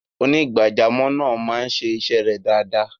onígbàjàmọ̀ naa maa n se ise re dada